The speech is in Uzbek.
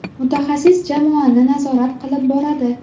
Mutaxassis jamoani nazorat qilib boradi.